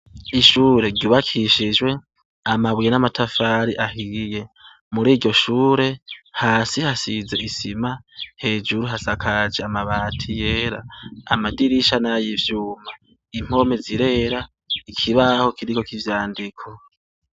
Ishure ryubakishijwe amabuye namatafari ahiye muri iryo shure hasi hasize isima hejuru hasakaje amabati yera amadirisha nay’ivyuma impome zirera ikibaho kiriko ivyandiko.